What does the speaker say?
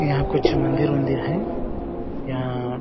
यहाँ कुछ मंदिर वंदिर हैं या --